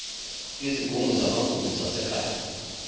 izigungu zamagugu zasekhaya